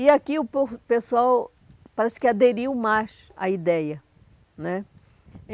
E aqui o povo o pessoal parece que aderiu mais à ideia né.